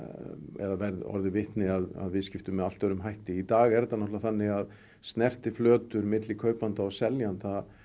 eða orðið vitni að viðskiptum með allt öðrum hætti í dag er þetta þannig að snertiflötur milli kaupanda og seljanda